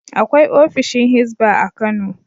Akwai ofishin Hizba a Kano.